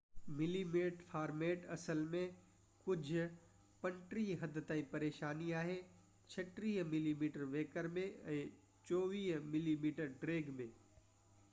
35 millimetre format اصل ۾ ڪجهہ حد تائين پريشاني آهي 36 ملي ميٽر ويڪر ۾۽ 24 ملي ميٽر ڊيگهہ ۾